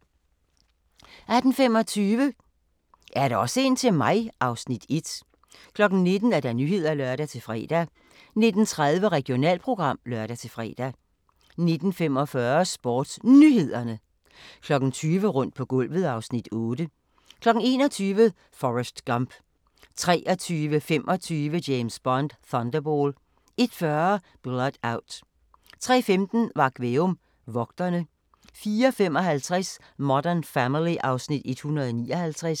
18:25: Er der også en til mig? (Afs. 1) 19:00: Nyhederne (lør-fre) 19:30: Regionalprogram (lør-fre) 19:45: SportsNyhederne 20:00: Rundt på gulvet (Afs. 8) 21:00: Forrest Gump 23:25: James Bond: Thunderball 01:40: Blood Out 03:15: Varg Veum - Vogtere 04:55: Modern Family (Afs. 159)